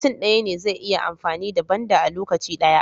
Mutun daya ne zai iya amfani da banda a lokaci daya